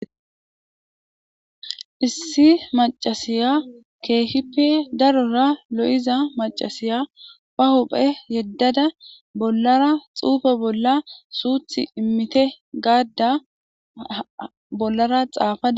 Issi macashshiya kehippe darora lo'iza macashshiya baa huphphe yedada bollara xuufe bolla